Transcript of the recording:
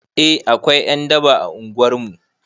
Eh akwai ƴan daba a unguwar mu